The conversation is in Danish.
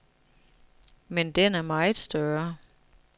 Men den er meget større.